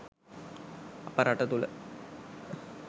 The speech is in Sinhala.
අප රට තුළ